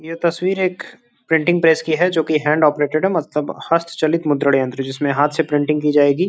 ये तस्वीर एक प्रिंटिंग प्रेस की है जो कि हैंड ऑपरेटेड है मतलब हस्त चलित मुद्रण यंत्र जिसमें हाथ से प्रिंटिंग की जाएगी।